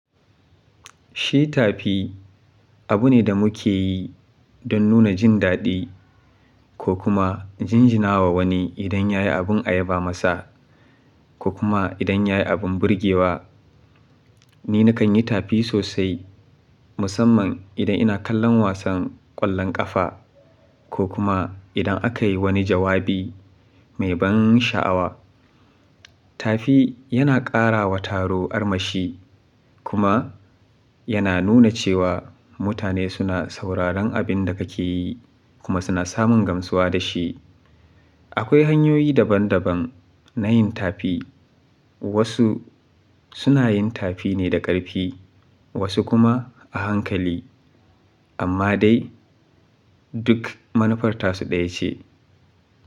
Shi tafi abu ne da muke yi dan nuna jin daɗi ko kuma jinjina wa wani idan ya yi abin ayaba masa ko kuma idan ya yi abin burgewa. Ni nakan yi tafi sosai musamman idan ina kallon wasan ƙwallon ƙafa ko kuma idan aka yi wani jawabi mai ban sha'awa. Tafi yana ƙara wa taro armashi kuma yana nuna cewa mutane suna sauraron abin da kake yi kuma suna samun gamsuwa da shi. Akwai hanyoyi daban daban na yin tafi. Wasu suna yin tafi ne da ƙarfi wasu kuma a hankali amma dai duk manufar tasu ɗaya ce.